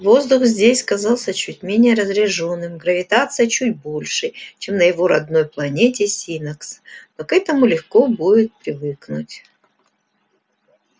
воздух здесь казался чуть менее разреженным гравитация чуть большей чем на его родной планете синнакс но к этому легко будет привыкнуть